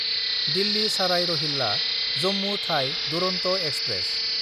दिल्ली साराय रहिल्ला–जम्मु थाइ दुरन्त एक्सप्रेस